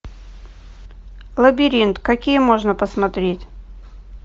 лабиринт какие можно посмотреть